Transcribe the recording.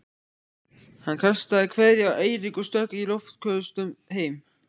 Hann kastaði kveðju á Eirík og stökk í loftköstum heim.